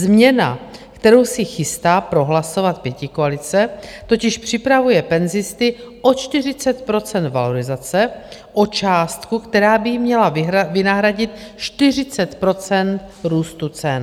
Změna, kterou si chystá prohlasovat pětikoalice, totiž připravuje penzisty o 40 % valorizace, o částku, která by jim měla vynahradit 40 % růstu cen.